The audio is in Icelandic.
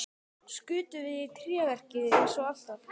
Skutum við í tréverkið eins og alltaf?